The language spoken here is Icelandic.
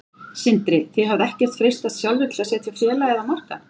Sindri: Þið hafið ekkert freistast sjálfir til að setja félagið á markað?